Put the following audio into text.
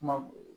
Kuma